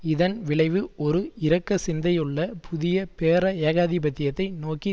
இதன் விளைவு ஒரு இரக்க சிந்தையுள்ள புதிய பேர ஏகாதிபத்தியத்தை நோக்கி